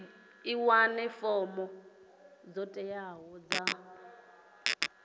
wane fomo dzo teaho dza